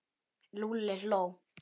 Lúlli hló.